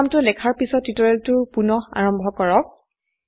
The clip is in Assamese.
প্ৰোগ্ৰামটো লেখাৰ পিছত টিউটোৰিয়েলটো পুনঃ আৰম্ভ কৰো